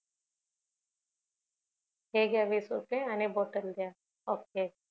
हे घ्या वीस रुपय आणि बॉटल दया ok